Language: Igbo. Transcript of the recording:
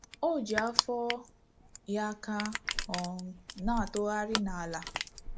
O ji afọ ya aka um na-atụrụgharị n’ala.